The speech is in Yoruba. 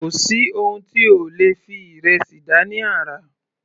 Kò sí oun tí ẹ ò lè fi ìrẹsì dá ní àrà.